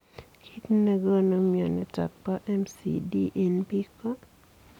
Kiit nekonuu mionitok poo MCD eng piik koo